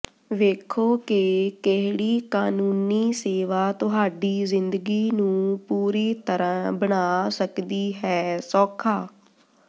ਵੇਖੋ ਕਿ ਕਿਹੜੀ ਕਾਨੂੰਨੀ ਸੇਵਾ ਤੁਹਾਡੀ ਜ਼ਿੰਦਗੀ ਨੂੰ ਪੂਰੀ ਤਰ੍ਹਾਂ ਬਣਾ ਸਕਦੀ ਹੈ ਸੌਖਾ